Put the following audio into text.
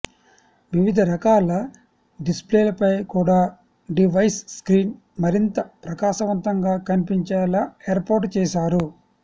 వివిధ రకాల డిస్ప్లేలపై కూడా డివైస్ స్క్రీన్ మరింత ప్రకాశవంతంగా కనిపించేలా ఏర్పాటు చేశారు